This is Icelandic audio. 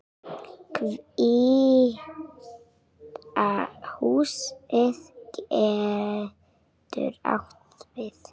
Hvíta húsið getur átt við